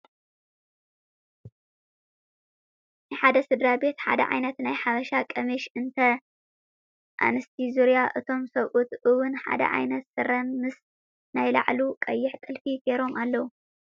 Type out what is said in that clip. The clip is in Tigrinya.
ናይ ሓደ ስድራ ቤት ሓደ ዓይነት ናይ ሓበሻ ቀሚሽ እተን ኣንስቲ ዙርያ እቶም ሰብኡት እውን ሓደ ዓይነት ስረ ምስ ናይ ላዕሉ ቀይሕ ጥልፊ ጌሮም ኣለዉ።